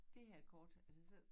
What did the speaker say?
Dét her kort altså så